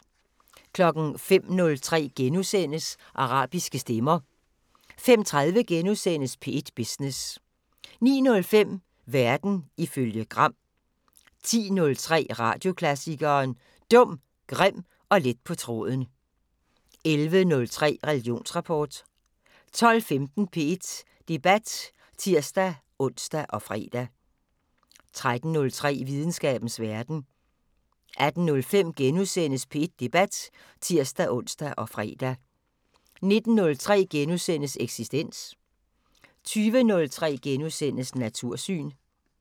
05:03: Arabiske stemmer * 05:30: P1 Business * 09:05: Verden ifølge Gram 10:03: Radioklassikeren: Dum, grim og let på tråden 11:03: Religionsrapport 12:15: P1 Debat (tir-ons og fre) 13:03: Videnskabens Verden 18:05: P1 Debat *(tir-ons og fre) 19:03: Eksistens * 20:03: Natursyn *